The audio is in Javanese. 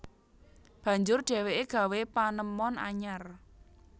Banjur dheweke gawé panemon anyar